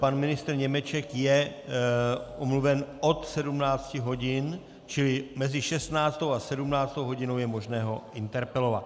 Pan ministr Němeček je omluven od 17 hodin, čili mezi 16. a 17. hodinou je možné ho interpelovat.